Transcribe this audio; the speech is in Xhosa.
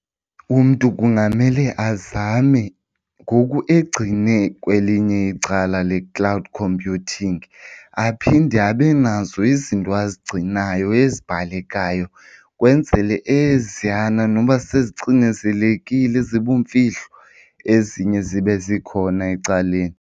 Umntu kungamele azame ngoku egcine kwelinye icala le-cloud computing aphinde abe nazo izinto azigcinayo ezibhalekayo ukwenzele eziyana noba sezicinezelekile zibumfihlo ezinye zibe zikhona ecaleni.